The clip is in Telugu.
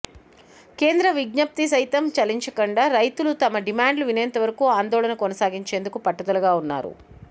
కేంద్రం విజ్ఞప్తికి సైతం చలించకుండా రైతులు తమ డిమాండ్లు వినేంతవరకూ ఆందోళన కొనసాగించేందుకు పట్టుదలగా ఉన్నారు